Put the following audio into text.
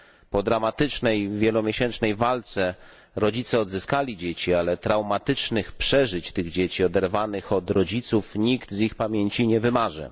Po dramatycznej, wielomiesięcznej walce rodzice odzyskali dzieci, ale traumatycznych przeżyć tych dzieci, oderwanych od rodziców, nikt z ich pamięci nie wymaże.